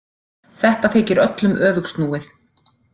Þetta þykir öllum öfugsnúið.